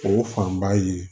O fan ba ye